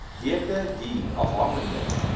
weke duur afhangende